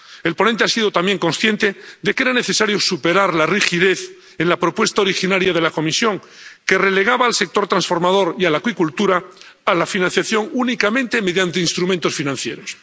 El ponente ha sido también consciente de que era necesario superar la rigidez en la propuesta originaria de la Comisión, que relegaba al sector transformador y a la acuicultura a la financiación únicamente mediante instrumentos financieros.